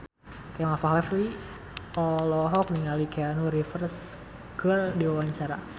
Kemal Palevi olohok ningali Keanu Reeves keur diwawancara